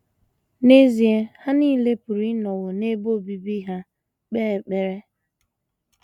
N’ezie,, ha nile pụrụ ịnọwo n’ebe obibi ha kpee ekpere.